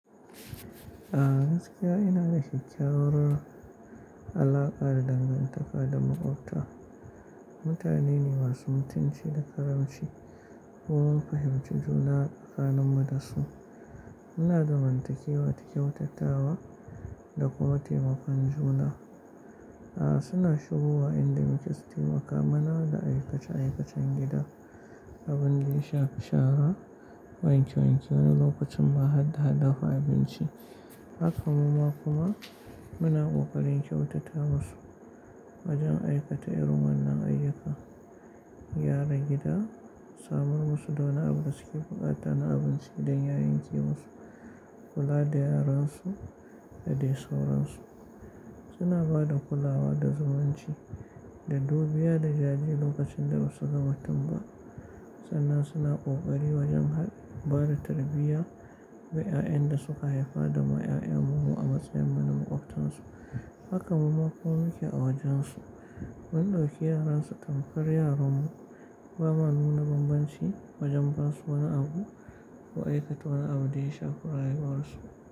A gaskiya ina da kyakkyawar. Alaƙa da dangantaka da maƙwabta. Mutane ne masu mutunci da ƙaramci. Mun fahimci juna tsakanin mu da su. Muna zamantakewa, ta kyautatawa da kuma taimakon juna. A suna shigowa inda muke su taimaka mana da aikace-aikacen gida, abin daya shafi shara, wanke-wanke wani lokacin ma hadda dafa abinci. Haka muma kuma muna kokarin kyautata mu su wajen aikata irin wannan ayyukan. Yaran gida samar musu da wani abu da suke, buƙata na abinci idan ya yanke musu kula da yaran su da dai sauransu. Suna ba da kulawa da zumunci da dubiya da jariri lokacin da ba su ga mutum ba. Sannan suna kokari wajen ba da tarbiyya wa 'ya'yan da suka haifa da ma 'ya'yan mu mu a matsayin mu na maƙwabtan su. Haka muma kuma mu ke a wajen su. Mun dauki yaran su tamkar yaran mu, bama nuna bambanci wajen ba su wani abu ko aikata wani abu da ya shafi rayuwar su.